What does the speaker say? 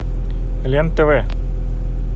лен тв